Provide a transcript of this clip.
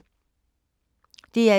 DR1